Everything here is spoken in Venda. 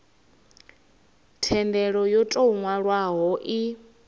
thendelo yo tou nwalwaho i